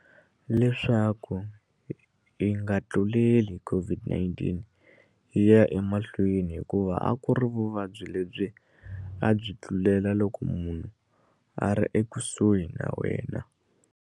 Leswaku yi nga tluleli COVID-19 yi ya emahlweni hikuva a ku ri vuvabyi lebyi a byi tlulela loko munhu a ri ekusuhi na wena.